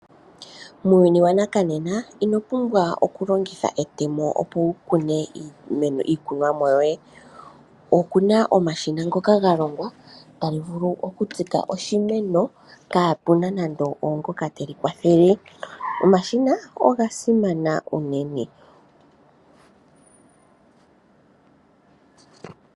Muuyuni wanakanena inopumbwa okulongitha etemo opo wukune iimeno nenge iikunwamo yoye. Okuna omashina ngoka galongwa tali vulu okutsika oshimeno kapuna nande oongoka teli kwathele. Omashina oga simana uunene.